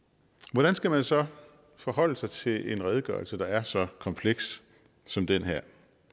hvordan skal man så forholde sig til en redegørelse der er så kompleks som den her